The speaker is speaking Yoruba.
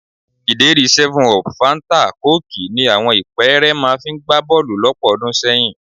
Ìdérí 7up, fáńtà kóòkì ni àwọn ìpẹ́ẹ́rẹ́ máa fi ń gbá bọ́ọ̀lù lọ́pọ̀ ọdún sẹ́yìn